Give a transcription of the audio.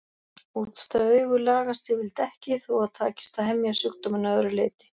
Útstæð augu lagast yfirleitt ekki þó að takist að hemja sjúkdóminn að öðru leyti.